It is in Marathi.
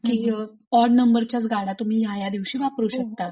की ऑड नंबरच्याच गाड्या तुम्ही या या दिवशी वापरू शकता. हो